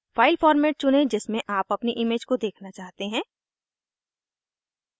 file format चुनें जिसमें आप अपनी इमेज को देखना चाहते हैं